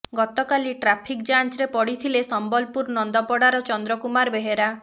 ଗତକାଲି ଟ୍ରାଫିକ ଯାଞ୍ଚରେ ପଡିଥିଲେ ସମ୍ବଲପୁର ନନ୍ଦପଡ଼ାର ଚନ୍ଦ୍ର କୁମାର ବେହେରା